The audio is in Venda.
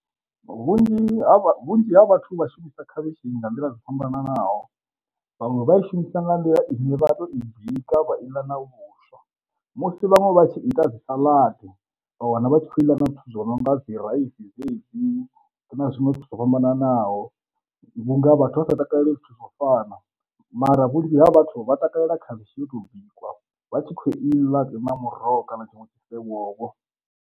Vhunzhi ha vhunzhi ha vhathu vha shumisa khavhishi nga nḓila dzo fhambananaho, vhaṅwe vha i shumisa nga nḓila ine vha to i bika vha iḽa na vhuswa, musi vhaṅwe vha tshi ita dzi saladi vha wana vha tshi khou iḽa na zwithu zwo no nga dzi raisi dzedzi na zwiṅwe zwo fhambananaho vhunga vhathu vha sa takalela zwithu zwo fana. Mara vhunzhi ha vhathu vha takalela khavhishi yo tou bikwa vha tshi kho iḽa muroho kana tshiṅwe tshithu vho vho.